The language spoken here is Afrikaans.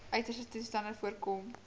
uiterste toestande voorkom